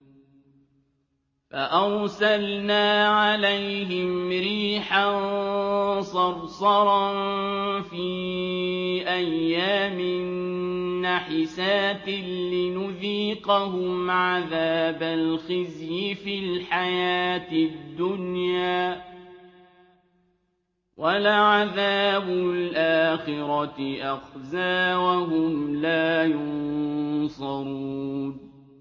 فَأَرْسَلْنَا عَلَيْهِمْ رِيحًا صَرْصَرًا فِي أَيَّامٍ نَّحِسَاتٍ لِّنُذِيقَهُمْ عَذَابَ الْخِزْيِ فِي الْحَيَاةِ الدُّنْيَا ۖ وَلَعَذَابُ الْآخِرَةِ أَخْزَىٰ ۖ وَهُمْ لَا يُنصَرُونَ